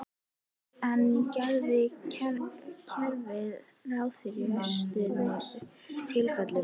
En gerir kerfið ráð fyrir verstu tilfellunum?